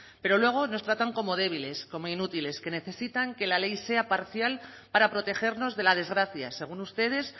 pero luego nos tratan como débiles como inútiles que necesitan que la ley sea parcial para protegernos de la desgracia según ustedes